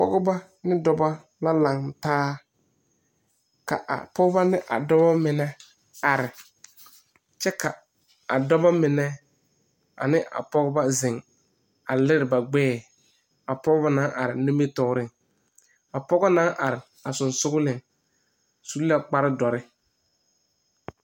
Pɔgba ane dɔba la laŋtaa ka a pɔgba mine ane a dɔba mine are kyɛ ka bamine meŋ ziŋ a lere ba gbɛɛ.A pɔge na naŋ are a sɔŋsɔgleŋ su la kparedɔre.